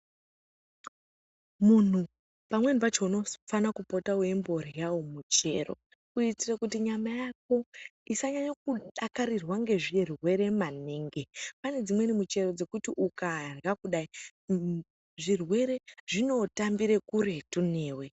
Munhu pamweni pacho unofana kupota wechimbodyawo michero kuite kuti mwiri wako usanyanya kudakarirwa nezvirwere kune mimweni michero yekuti ukadya zvirwere zvotambira kuretu newe .